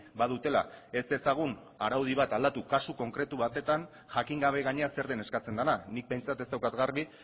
badutela ez dezagun araudi bat aldatu kasu konkretu batetan jakin gabe gainera zer den eskatzen dena nik behintzat ez daukat garbi